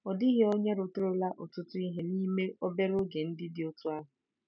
Ọ dịghị onye rụtụrụla ọtụtụ ihe n'ime obere oge dị otú ahụ.